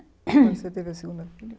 Quando você teve a segunda filha?